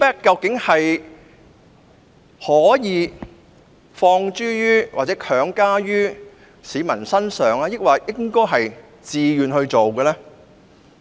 究竟"尊重"可否強加於市民身上，抑或必須出於自願？